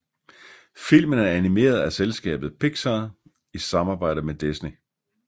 Filmen er animeret af selskabet Pixar i samarbejde med Disney